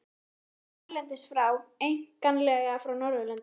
Fyrirmyndir komu erlendis frá, einkanlega frá Norðurlöndum.